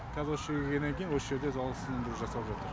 кәз осы жерге келгеннен кейін осы жерде залалсыздандыру жасалып жатыр